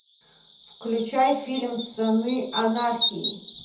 включай фильм сыны анархии